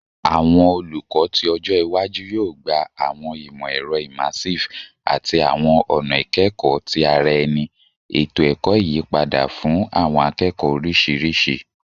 Awọn olukọ ti ọjọ iwaju yoo gba awọn imọ-ẹrọ immersive ati awọn ọna ikẹkọ ti ara ẹni, eto ẹkọ iyipada fun awọn akẹẹkọ oriṣiriṣi